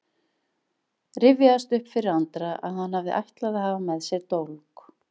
Rifjaðist upp fyrir Andra að hann hafði ætlað að hafa með sér dólk.